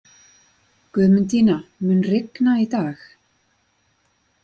Guðmundína, mun rigna í dag?